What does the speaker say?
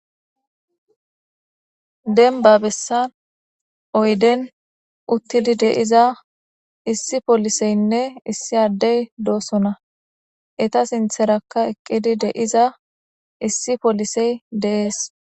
Denba bessan oyden uttidi deiza issi poliseynne issi addey doosona eta sintherakka eqqidi de'iza issi polisey deees.